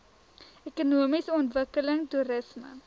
ekonomiese ontwikkeling toerisme